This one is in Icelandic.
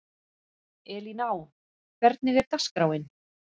Elíná, hvernig er dagskráin?